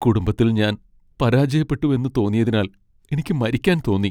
കുടുംബത്തിൽ ഞാൻ പരാജയപ്പെട്ടുവെന്ന് തോന്നിയതിനാൽ എനിക്ക് മരിക്കാൻ തോന്നി.